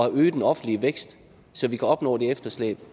øge den offentlige vækst så vi kan opnå det efterslæb